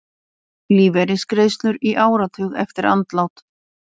Lífeyrisgreiðslur í áratug eftir andlát